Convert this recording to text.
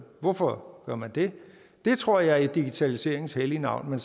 hvorfor gør man det det tror jeg sker i digitaliseringen hellige navn men